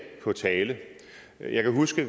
på tale jeg kan huske at